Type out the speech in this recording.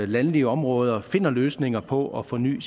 landlige områder finder løsninger på at forny